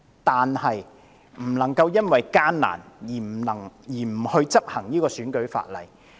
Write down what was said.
但不可以因為艱難，便不執行選舉法例。